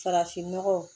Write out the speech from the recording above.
Farafinnɔgɔ